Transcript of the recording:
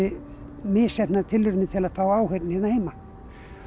misheppnaðar tilraunir til að fá áheyrn hérna heima